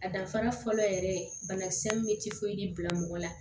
A danfara fɔlɔ yɛrɛ banakisɛ min bɛ bila mɔgɔ la